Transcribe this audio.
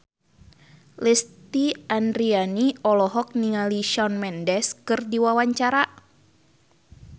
Lesti Andryani olohok ningali Shawn Mendes keur diwawancara